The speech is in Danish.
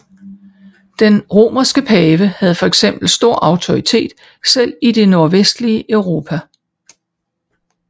Den romerske pave havde fx stor autoritet selv i det nordvestlige Europa